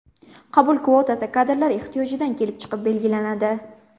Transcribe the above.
Qabul kvotasi kadrlar ehtiyojidan kelib chiqib belgilanadi.